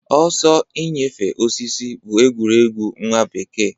Ọsọ inyefe osisi bụ egwuregwu nwa bekee.